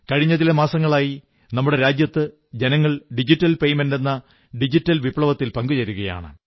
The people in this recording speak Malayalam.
കഴിഞ്ഞ ചില മാസങ്ങളായി നമ്മുടെ രാജ്യത്ത് ജനങ്ങൾ ഡിജിറ്റൽ പേയ്മെന്റ് എന്ന ഡിജിറ്റൽ വിപ്ലവത്തിൽ പങ്കുചേരുകയാണ്